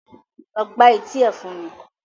Lọ gbá etí ẹ̀ fún mi!